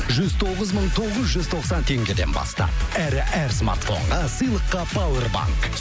жүз тоғыз мың тоғыз жүз тоқсан теңгеден бастап әрі әр смартфонға сыйлыққа пауэрбанк